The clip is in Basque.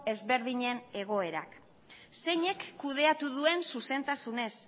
ezberdinen egoerak zeinek kudeatu duen zuzentasunez